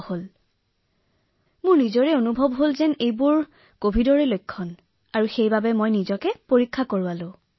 ইয়াৰ পিছত মই লক্ষণবোৰ অলপ অনুভৱ কৰা যেন পালো আৰু সেয়েহে মই পৰীক্ষা কৰোৱালো